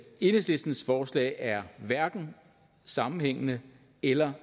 enhedslistens forslag er hverken sammenhængende eller